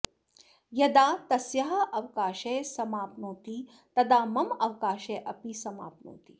यदा तस्याः अवकाशः समाप्नोति तदा मम अवकाशः अपि समाप्नोति